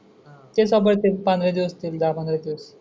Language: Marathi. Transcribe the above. कीन चा बर्थडे पंदरा दिवस तून जाणार हाय तो